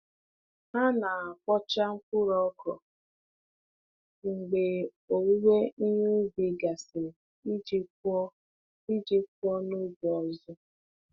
Ha na-akpọcha mkpụrụ ọkrọ mgbe owuwe ihe ubi gasịrị iji kụọ iji kụọ n'oge ọzọ.